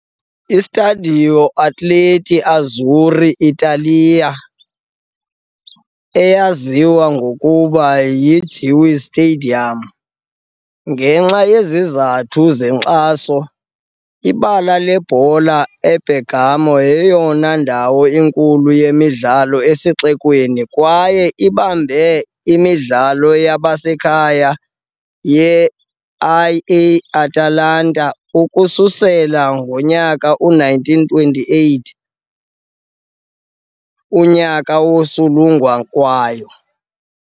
I-Stadio Atleti Azzurri d'Italia, eyaziwa ngokuba yi-Gewiss Stadium ngenxa yezizathu zenkxaso, ibala lebhola e- Bergamo. Yeyona ndawo inkulu yezemidlalo esixekweni kwaye ibambe imidlalo yasekhaya ye-IAtalanta ukusukela ngo-1928, unyaka wokusungulwa kwayo.